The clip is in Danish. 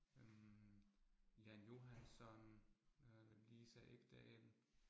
Øh Jan Johansson øh Lisa Ekdahl